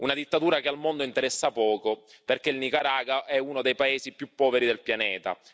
Una dittatura che al mondo interessa poco, perché il Nicaragua è uno dei paesi più poveri del pianeta.